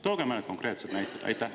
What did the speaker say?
Tooge mõned konkreetsed näited!